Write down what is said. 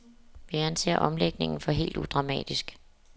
Vi anser omlægningen for helt udramatisk.